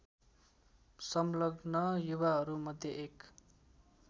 सङ्लग्न युवाहरूमध्ये एक